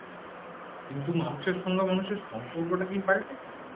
কিন্তু মানুষের সঙ্গে মানুষের সম্পর্কটা কি পাল্টেছে